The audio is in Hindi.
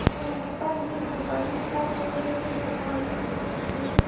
यहां पर एक दुकान दिखाई दे रही है। दुकान में मुझे--